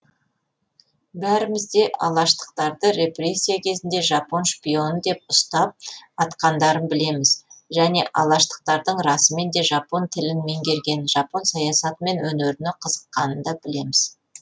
бәріміз де алаштықтарды репрессия кезінде жапон шпионы деп ұстап атқандарын білеміз және алаштықтардың расымен де жапон тілін меңгеріп жапон саясаты мен өнеріне қызыққанын да білеміз